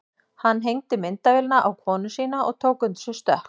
Hann hengdi myndavélina á konu sína og tók undir sig stökk.